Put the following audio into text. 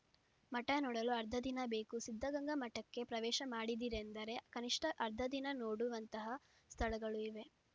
ಮಠ ನೋಡಲು ಅರ್ಧ ದಿನ ಬೇಕು ಸಿದ್ಧಗಂಗಾ ಮಠಕ್ಕೆ ಪ್ರವೇಶ ಮಾಡಿದಿರೆಂದರೆ ಕನಿಷ್ಠ ಅರ್ಧ ದಿನ ನೋಡುವಂತಹ ಸ್ಥಳಗಳು ಇವೆ